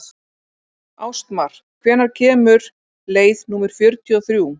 Ástmar, hvenær kemur leið númer fjörutíu og þrjú?